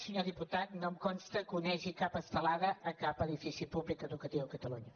senyor diputat no em consta que onegi cap estelada a cap edifici públic educatiu a catalunya